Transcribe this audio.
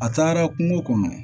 A taara kungo kɔnɔ